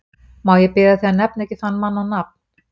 Má ég biðja þig að nefna ekki þann mann á nafn!